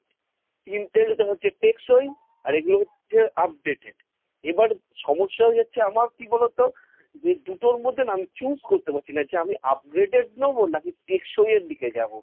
intel টা হচ্ছে টেকসই আর এগুলো হচ্ছে updated। এবার সমস্যা হয়ে যাচ্ছে আমার কি বলতো যে, দুটোর মধ্যে আমি choose করতে পারছি না, যে আমি upgraded নেবো, নাকি আমি টেকসই এর দিকে যাব।